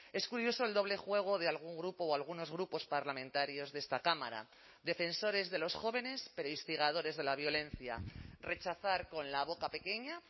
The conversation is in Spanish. es curioso el doble juego de algún grupo o algunos grupos parlamentarios de esta cámara defensores de los jóvenes pero instigadores de la violencia rechazar con la boca pequeña